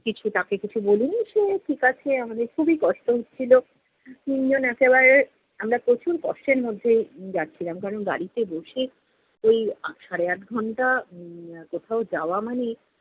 কিছু তাকে কিছু বলিনি। সে ঠিকাছে, আমাদের খুবই কষ্ট হচ্ছিল, তিনজন একেবারে আমরা প্রচুর কষ্টের মধ্যে যাচ্ছিলাম কারণ গাড়িতে বসে ঐ আট সাড়ে-আট ঘণ্টা উম কোথাও যাওয়া মানে,